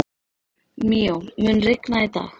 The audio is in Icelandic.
Míó, mun rigna í dag?